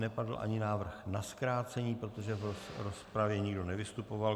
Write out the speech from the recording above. Nepadl ani návrh na zkrácení, protože v rozpravě nikdo nevystupoval.